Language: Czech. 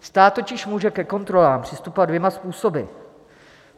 Stát totiž může ke kontrolám přistupovat dvěma způsoby.